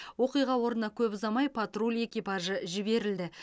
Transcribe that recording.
оқиға орнына көп ұзамай патруль экипажы жіберілді